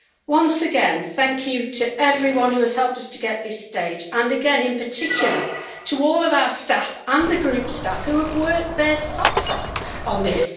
Once again, thank you to everyone who has helped us to get to this stage, and again in particular to all of our staff and the Group staff, who have worked their socks off on this.